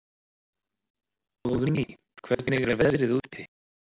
Óðný, hvernig er veðrið úti?